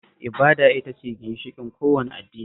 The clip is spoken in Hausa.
Ibada ita ce ginshiƙin kowane addini